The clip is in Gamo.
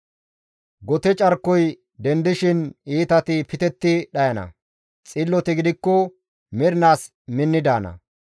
Gote carkoy dendishin iitati pitetti dhayana; xilloti gidikko mernaas minni daana.